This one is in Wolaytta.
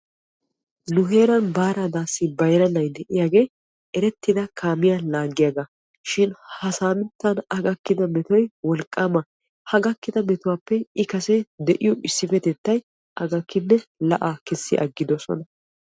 Nu heeran baara adaassi bayra na'ay de'iyaage erettidda kaamiya laagiyaaga gidoshin ha gidon a gakkidda daafay wolqqamma ha a gakidda metuwappe i kase de'iyo issipetettay a gakkinen la'aa kessiis.